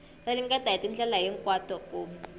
ringeta hi tindlela hinkwato ku